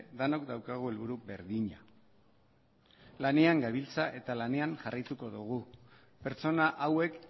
denok daukagu helburu berdina lanean gabiltza eta lanean jarraituko dugu pertsona hauek